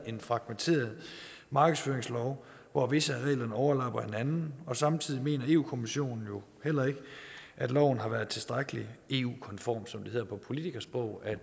en fragmenteret markedsføringslov hvor visse af reglerne overlapper hinanden samtidig mener europa kommissionen heller ikke at loven har været tilstrækkelig eu konform som det hedder på politikersprog at